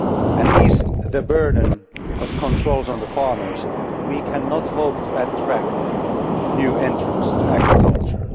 and ease the burden of controls on farmers, we cannot hope to attract new entrants to agriculture.